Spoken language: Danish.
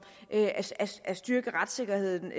at styrke retssikkerheden